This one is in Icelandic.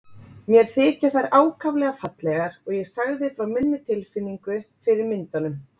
Mér þykja þær ákaflega fallegar og ég sagði frá minni tilfinningu fyrir myndunum.